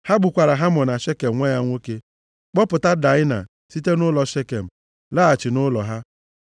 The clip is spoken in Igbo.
Ha gbukwara Hamọ na Shekem nwa ya nwoke, kpọpụta Daịna site nʼụlọ Shekem, laghachi nʼụlọ ha.